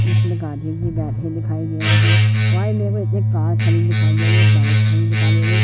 जिसमें दिखाई दे रही है वही एक कार खड़ी दिखाई दे रही है एक बाइक खड़ी दिखाई दे--